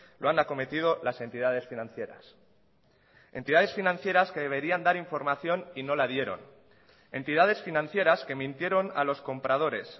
lo han acometido las entidades financieras entidades financieras que deberían dar información y no la dieron entidades financieras que mintieron a los compradores